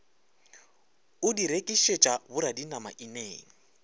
o di rekišetša boradinama ineng